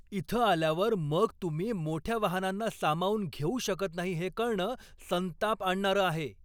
इथं आल्यावर मग तुम्ही मोठ्या वाहनांना सामावून घेऊ शकत नाही हे कळणं संताप आणणारं आहे.